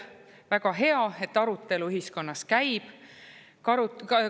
Väga hea, et arutelu ühiskonnas käib.